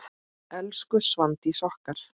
Elsku Svandís okkar.